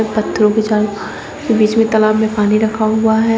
पत्थरों के चारों बीच में तालाब में पानी रखा हुआ है।